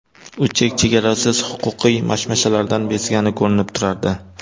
U chek-chegarasiz huquqiy mashmashalardan bezgani ko‘rinib turardi.